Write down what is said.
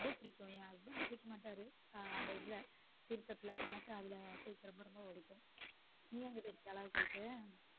ரொம்ப பிடிக்கும் என் husband குளிக்க மாட்டாரு அந்த இதுல தீர்த்தத்துல எனக்கு அதுல குளிக்க ரொம்ப ரொம்ப பிடிக்கும் நீ அங்க போயிருக்கியா? அழகர் கோயிலுக்கு.